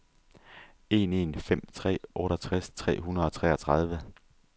en en fem tre otteogtres tre hundrede og treogtredive